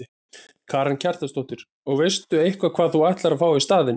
Karen Kjartansdóttir: Og veistu eitthvað hvað þú ætlar að fá í staðinn?